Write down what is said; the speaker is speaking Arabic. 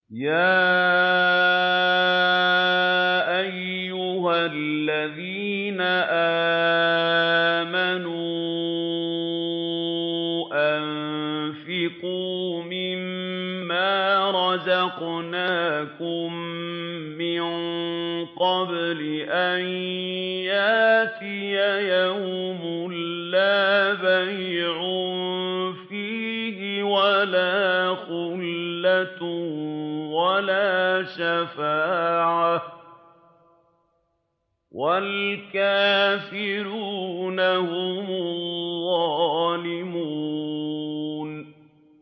يَا أَيُّهَا الَّذِينَ آمَنُوا أَنفِقُوا مِمَّا رَزَقْنَاكُم مِّن قَبْلِ أَن يَأْتِيَ يَوْمٌ لَّا بَيْعٌ فِيهِ وَلَا خُلَّةٌ وَلَا شَفَاعَةٌ ۗ وَالْكَافِرُونَ هُمُ الظَّالِمُونَ